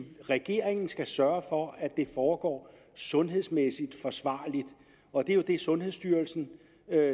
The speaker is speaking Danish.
regeringen skal sørge for at det foregår sundhedsmæssigt forsvarligt og det er jo det sundhedsstyrelsen